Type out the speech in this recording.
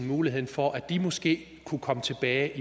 muligheden for at de måske kunne komme tilbage